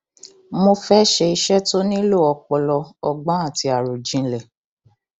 mo fẹẹ ṣe iṣẹ tó nílò ọpọlọ ọgbọn àti àròjinlẹ